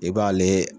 I b'ale